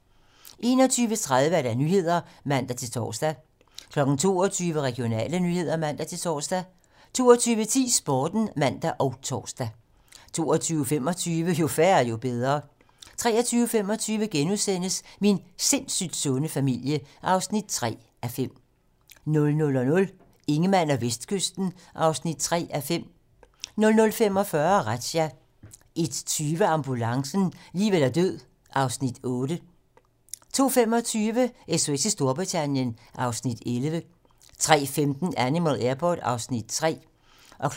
21:30: 21:30 Nyhederne (man-tor) 22:00: Regionale nyheder (man-tor) 22:10: Sporten (man og tor) 22:25: Jo færre, jo bedre 23:25: Min sindssygt sunde familie (3:5)* 00:00: Ingemann og Vestkysten (3:5) 00:45: Razzia 01:20: Ambulancen - liv eller død (Afs. 8) 02:25: SOS i Storbritannien (Afs. 11) 03:15: Animal Airport (Afs. 3)